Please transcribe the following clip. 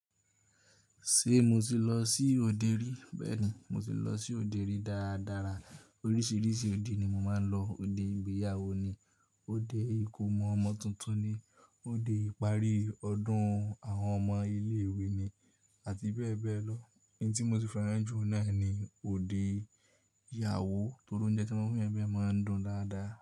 Ṣé mo ti lọ sí òde rí? Bẹ́ẹ̀ni, mo ti lọ sí òde rí dáadára. Oríṣiríṣi òde ni mo máa ń lọ. Òde ìgbéyàwó ni, òde ìkómọ ọmọ tuntun ni, òde ìparí ọdún àwọn ọmọ ilé ìwé ni àti bẹ́ẹ̀ bẹ́ẹ̀ lọ. Ẹni tí mo ti fẹ́ràn jù lọ́ọ̀ná ni òde ìyàwó torí oúnjẹ tí wọ́n fi ẹbí ẹ máa ń dùn dáadáa.